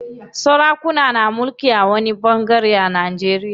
Sarakuna na mulkin a wani ɓangare a Najeriya.